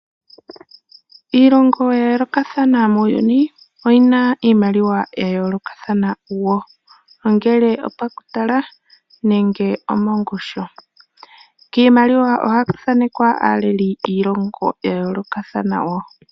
Iilongo ya yoolokathana muuyuni, oyina iimaliwa ya yoolokathanana wo, ongele opakutala, nenge omongushu. Kiimaliwa ohaku thaanekwa aaleli yiilongo ya yoolokathana wo.